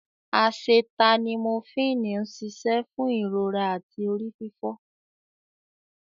Acetaminophini ń ṣiṣẹ́ fún ìrora àti orí fífọ.